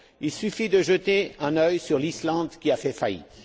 Il suffit de jeter un œil sur l'Islande qui a fait faillite.